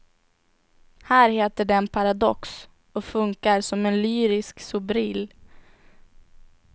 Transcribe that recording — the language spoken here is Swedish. Här heter den paradox och funkar som en lyrisk sobril.